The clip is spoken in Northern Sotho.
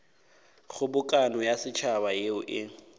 kgobokano ya setšhaba yeo e